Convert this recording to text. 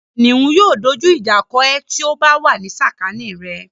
Kìnìún yóò dójú ìjà kọ ẹ ti ó bá wà ní sàkání rẹ̀.